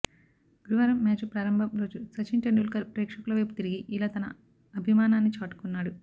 గురువారం మ్యాచు ప్రారంభం రోజు సచిన్ టెండూల్కర్ ప్రేక్షకుల వైపు తిరిగి ఇలా తన అభిమానాన్ని చాటుకున్నాడు